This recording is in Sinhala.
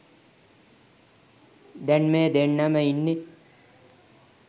දැන් මේ දෙන්නම ඉන්නේ